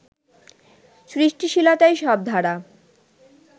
সৃষ্টিশীলতায় সব ধারা